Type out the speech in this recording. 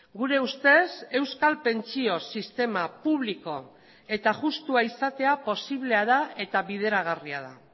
gure ustez euskal pentsio sistema publiko eta justua izatea posiblea da eta bideragarria da